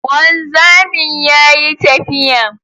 Wanzamin yayi tafiya